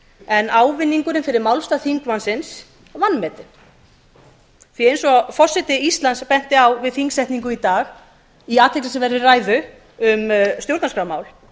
en ávinningurinn fyrir málstað þingmannsins vanmetinn eins og forseti íslands benti á við þingsetningu í dag í athyglisverðri ræðu um stjórnarskrármál